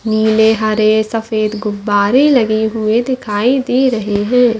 नीले हरे सफ़ेद गुब्बारे लगे हुए दिखाई दे रहे है।